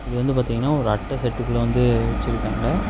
இது வந்து பாத்தீங்கன்னா ஒரு அட்ட செட்டுக்குள்ள வந்து வெச்சிருக்காங்க.